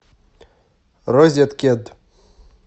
розеткед